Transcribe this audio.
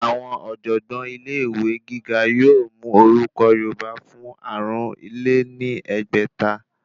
Àwọn ọ̀jọ̀gbọ́n ilé ìwé gíga yóò mọ orúkọ̀ yorùbá fún àrún lé ní ẹgbẹ́ta